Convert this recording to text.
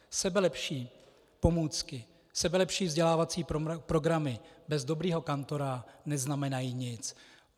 Sebelepší pomůcky, sebelepší vzdělávací programy bez dobrého kantora neznamenají nic.